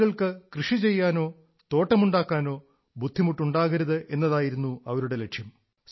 ആളുകൾക്ക് കൃഷിചെയ്യാനോ തോട്ടമുണ്ടാക്കാനോ ബുദ്ധിമുട്ടുണ്ടാകരുത് എന്നതായിരുന്നു അവരുടെ ലക്ഷ്യം